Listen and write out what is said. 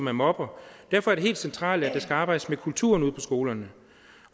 er mobber derfor er det helt centralt at der skal arbejdes med kulturen ude på skolerne